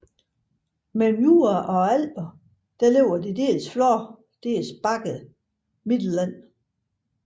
Mellem Jura og Alperne ligger det dels flade dels bakkede Mittelland